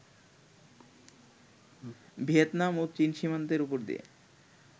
Vietnam ও চীন সীমান্তের ওপর দিয়ে